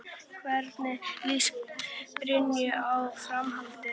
Hvernig líst Birnu á framhaldið?